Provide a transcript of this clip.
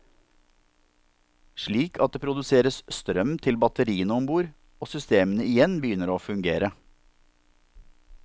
Slik at det produseres strøm til batteriene om bord og systemene igjen begynner å fungere.